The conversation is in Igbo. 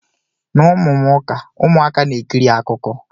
Na ụmụ m ụka, ụmụaka na-ekiri akụkọ.